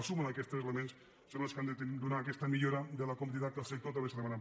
la suma d’aquests elements és el que ha de donar aquesta millora de la competitivitat que el sector també ens ha demanat